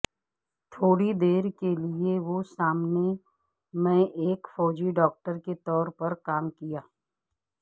تھوڑی دیر کے لئے وہ سامنے میں ایک فوجی ڈاکٹر کے طور پر کام کیا